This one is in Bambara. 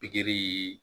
Pikiri